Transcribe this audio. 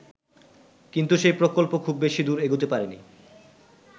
কিন্তু সেই প্রকল্প খুব বেশি দূর এগুতে পারেনি।